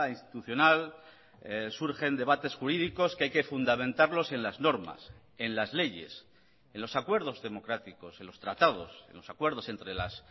institucional surgen debates jurídicos que hay que fundamentarlos en las normas en las leyes en los acuerdos democráticos en los tratados en los acuerdos entre las